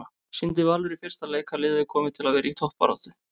Sýndi Valur í fyrsta leik að liðið er komið til að vera í toppbaráttu?